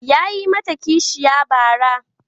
Yayi mata kishiya bara.